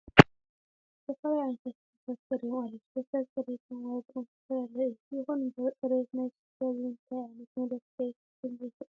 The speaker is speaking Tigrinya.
ዝተፈላለዩ ዓይነት ሽቶታት ቀሪቦም ኣለዉ፡፡ ሽቶታት ፅሬቶምን ዋግኦምን ዝተፈላለየ እዩ፡፡ ይኹን እምበር ፅሬት ናይ ሽቶ ብምንታይ ዓይነት መለክዒ ክፍለጥ ይኽእል?